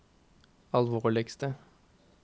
alvorligste